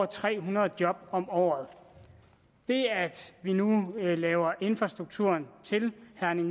tre hundrede job om året det at vi nu laver infrastrukturen til